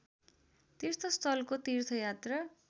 तीर्थस्थलको तीर्थयात्रा